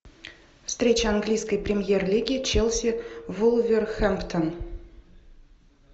встреча английской премьер лиги челси вулверхэмптон